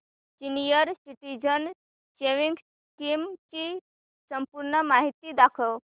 senior citizens savings scheme ची संपूर्ण माहिती दाखव